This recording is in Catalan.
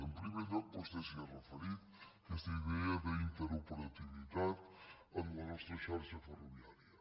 en primer lloc vostè s’hi ha referit aquesta idea d’interoperativitat en la nostra xarxa ferroviària